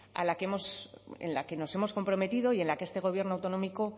en la que nos hemos comprometido y en la que este gobierno autonómico